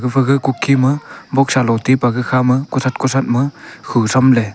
aga kukee ma boxa lo tai bak kha ma kuthat kuthat ma hu sham le.